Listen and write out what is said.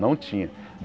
Não tinha.